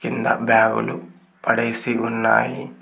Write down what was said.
కింద బ్యాగు లు పడేసి ఉన్నారు.